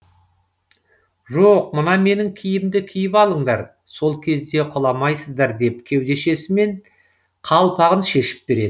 жоқ мына менің киімімді киіп алыңдар сол кезде құламайсыздар деп кеудешесімен қалпағын шешіп береді